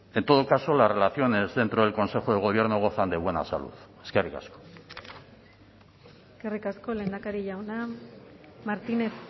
en todo caso las relaciones dentro del consejo de gobierno gozan de buena salud eskerrik asko eskerrik asko lehendakari jauna martínez